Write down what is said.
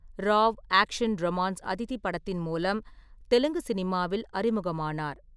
Rao action romance Aditi படத்தின் மூலம் தெலுங்கு சினிமாவில் அறிமுகமானார்.